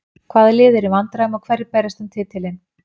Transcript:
Hvaða lið eru í vandræðum og hverjir berjast um titilinn?